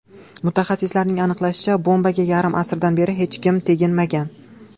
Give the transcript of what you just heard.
Mutaxassislarning aniqlashicha, bombaga yarim asrdan beri hech kim teginmagan.